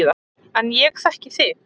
En ég þekki þig.